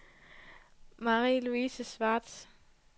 Marie-Louise Schwartz